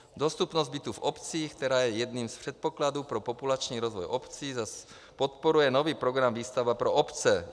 Dostupnost bytů v obcích, která je jedním z předpokladů pro populační rozvoj obcí, zase podporuje nový program Výstavba pro obce.